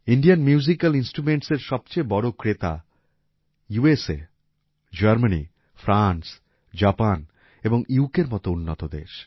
Indian musical ইন্সট্রুমেন্টসএর সবচেয়ে বড় ক্রেতা ইউএসএ জার্মানি ফ্রান্স জাপান এবং ইউকের মত উন্নত দেশ